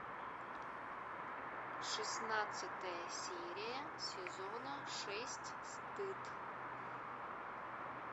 шестнадцатая серия сезона шесть стыд